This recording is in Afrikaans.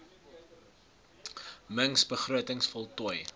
mings begrotings voltooi